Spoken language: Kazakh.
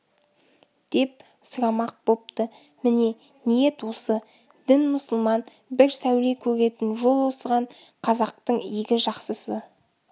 деп сұрамақ бопты міне ниет осы дін мұсылман бір сәуле көретін жол осыған қазақтың игі жақсысы